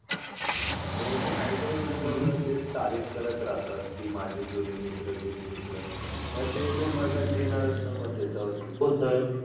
हो नाही काही काही मुलं तर ते तारीफ करत राहतात की माझे जुने मित्र, जुने मित्र मग ते तर माझा घेणारच. मग त्याच्यावरती.